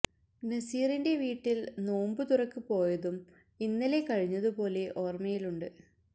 നസീറിന്റെ വീട്ടിൽ നോമ്പു തുറക്ക് പോയതും ഇന്നലെ കഴിഞ്ഞത് പോലെ ഓർമയിലുണ്ട്